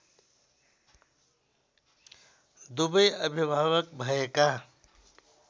दुवै अभिभावक भएका